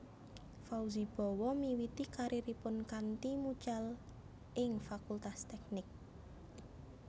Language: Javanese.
Fauzi Bowo miwiti kariripun kanthi mucal ing Fakultas Teknik